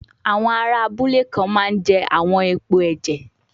Àwọn ará abúlé kan máa ń jẹ àwọn èèpo ẹ̀jẹ̀